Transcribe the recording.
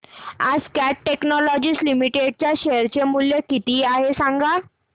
आज Cat Technologies Limited चे share चे मूल्य किती आहे सांगा